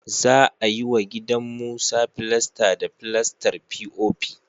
Za a yi wa gidan Musa filasta da filastar fi'ofi